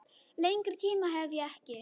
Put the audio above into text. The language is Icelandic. Lengri tíma hef ég ekki.